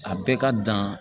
A bɛɛ ka dan